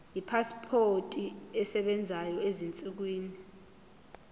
ipasipoti esebenzayo ezinsukwini